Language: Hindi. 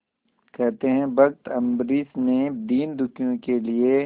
कहते हैं भक्त अम्बरीश ने दीनदुखियों के लिए